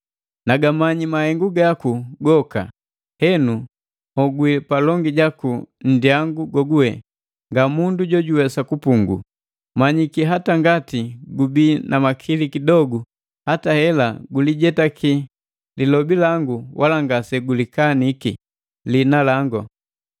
Nagamanyi mahengu gaku goka! Henu, nhogwi palongi jaku nndyangu goguwe nga mundu jojuwesa kugupungu, manyiki hata ngati gubii na makili kidogu hata hela gulijetaki lilobi langu wala ngase ulikaniki liina langu.